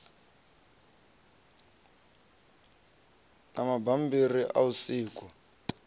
na mabambiri a u sikwa